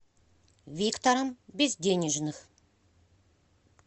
виктором безденежных